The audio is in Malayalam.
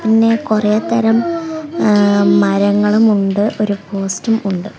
പിന്നെ കൊറെ തരം ഏ മരങ്ങളും ഉണ്ട് ഒരു പോസ്റ്റും ഉണ്ട്.